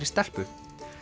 stelpu